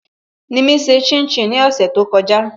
Nimi ṣe shin shin ní ọ̀sẹ̀ to kọjá